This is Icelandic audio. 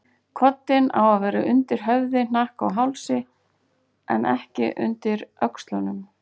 Koddinn á að vera undir höfði, hnakka og hálsi, en ekki undir öxlunum.